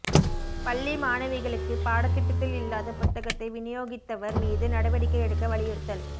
பள்ளி மாணவிகளுக்கு பாடத்திட்டத்தில் இல்லாத புத்தகத்தை விநியோகித்தவா் மீது நடவடிக்கை எடுக்க வலியுறுத்தல்